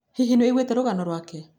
Hihi nĩ ũiguĩte waigua rũgano rwake?